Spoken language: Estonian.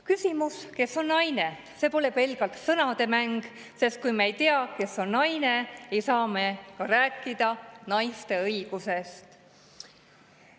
Küsimus, kes on naine, pole pelgalt sõnademäng, sest kui me ei tea, kes on naine, ei saa me ka rääkida naiste õigusest.